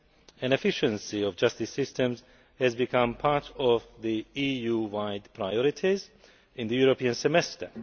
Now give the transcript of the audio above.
and efficiency of justice systems has become part of the EU wide priorities in the European Semester.